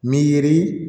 Mi yiri